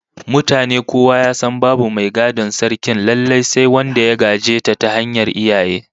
Mutane kowa ya san babu mai gadon Sarkin lallai sai wanda ya gaje ta ta hanyar iyaye